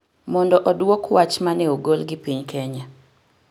mondo odwok wach ma ne ogol gi piny Kenya.